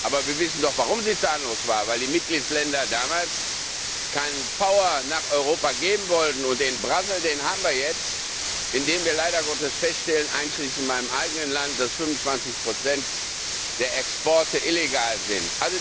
Aber wir wissen doch, warum sie zahnlos war Weil die Mitgliedsländer damals keine Power nach Europa geben wollten, und den Schlamassel, den haben wir jetzt, indem wir leider Gottes feststellen, einschließlich in meinem eigenen Land, dass 25 der Exporte illegal sind.